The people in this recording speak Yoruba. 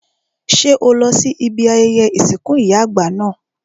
Ṣé o lọ sí ibi ayẹyẹ ìsìnkú ìyá àgbà náà?